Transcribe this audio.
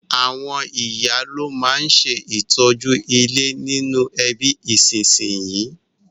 Àwon ìyá lo ma n se ìtọ́jú ilé nínú ẹbí ìsínsinyì